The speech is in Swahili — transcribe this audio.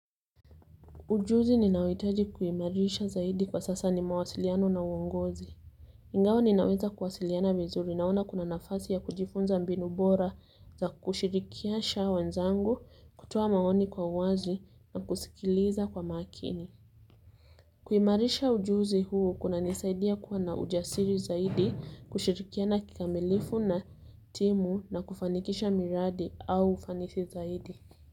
Ujuzi ninaohitaji kuimarisha zaidi kwa sasa ni mawasiliano na uongozi. Ingawa ninaweza kuwasiliana vizuri naona kuna nafasi ya kujifunza mbinu bora za kushirikisha wenzangu, kutoa maoni kwa wazi na kusikiliza kwa makini. Kuimarisha ujuzi huu kunanisaidia kwa na ujasiri zaidi kushirikiana kikamilifu na timu na kufanikisha miradi au ufanisi zaidi.